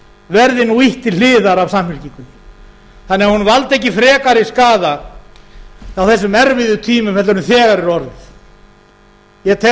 verði nú ýtt til hliðar af samfylkingunni þannig að hún valdi ekki frekari skaða á þessum erfiðu tímum heldur en þegar er orðið ég tel að